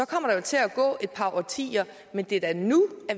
kommer der jo til at gå et par årtier men det er da nu